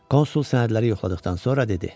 Konsul sənədləri yoxladıqdan sonra dedi: